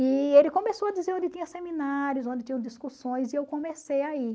E ele começou a dizer onde tinha seminários, onde tinham discussões, e eu comecei a ir.